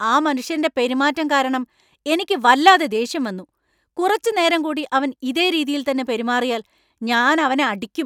ആ മനുഷ്യന്‍റെ പെരുമാറ്റം കാരണം എനിക്ക് വല്ലാതെ ദേഷ്യം വന്നു. കുറച്ച് നേരം കൂടി അവൻ ഇതേ രീതിയിൽത്തന്നെ പെരുമാറിയാൽ ഞാൻ അവനെ അടിക്കും.